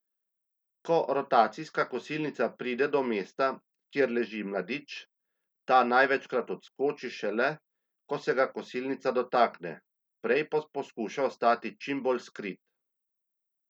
Ko rotacijska kosilnica pride do mesta, kjer leži mladič, ta največkrat odskoči šele, ko se ga kosilnica dotakne, prej pa poskuša ostati čim bolj skrit.